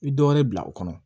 I bi dɔ wɛrɛ bila o kɔnɔ